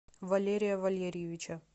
валерия валерьевича